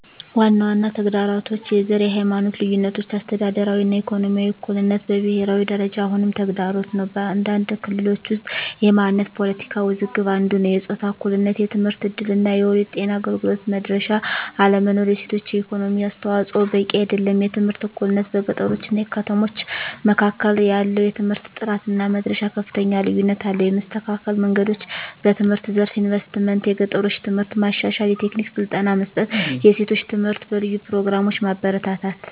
ዋና ዋና ተግዳሮቶች፦ # የዘር እና የሃይማኖት ልዩነቶች - አስተዳደራዊ እና ኢኮኖሚያዊ እኩልነት በብሄራዊ ደረጃ አሁንም ተግዳሮት ነው። በአንዳንድ ክልሎች ውስጥ የማንነት ፖለቲካ ውዝግብ አንዱ ነዉ። #የጾታ እኩልነት የትምህርት እድል እና የወሊድ ጤና አገልግሎት መድረሻ አለመኖር። የሴቶች የኢኮኖሚ አስተዋፅዖ በቂ አይደለም። #የትምህርት እኩልነት - በገጠሮች እና ከተሞች መካከል ያለው የትምህርት ጥራት እና መድረሻ ከፍተኛ ልዩነት አለው። የመስተካከል መንገዶች፦ #በትምህርት ዘርፍ ኢንቨስትመንት - የገጠሮችን ትምህርት ማሻሻል፣ የቴክኒክ ስልጠና መስጠት፣ የሴቶች ትምህርት በልዩ ፕሮግራሞች ማበረታታት።